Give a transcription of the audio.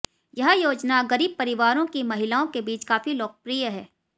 यह योजना गरीब परिवारों की महिलाओं के बीच काफी लोकप्रिय है